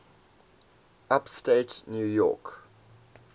upstate new york